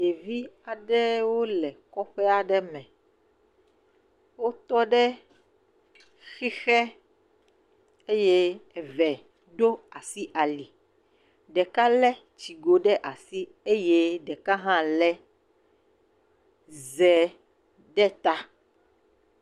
Ɖevi aɖewo le kɔƒe aɖe me, wotɔ ɖe xixe eye eve ɖo asi ali, ɖeka hã lé tsigo ɖe asi eye ɖeka hã lé ze ɖe ta.